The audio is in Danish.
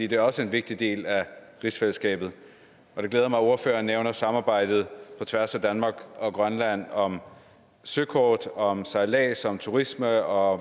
det er også en vigtig del af rigsfællesskabet og det glæder mig at ordføreren nævner samarbejdet på tværs af danmark og grønland om søkort om sejlads om turisme og